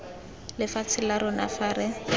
lefatshe la rona fa re